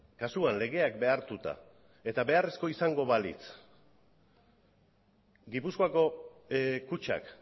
kasuan legeak behartuta eta beharrezko izango balitz gipuzkoako kutxak